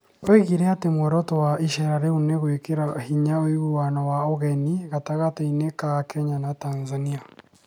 Oigire atĩ muoroto wa iceera rĩu nĩ gwĩkĩra hinya ũiguano wa ũgeni gatagatĩ ka Kenya na Tanzania".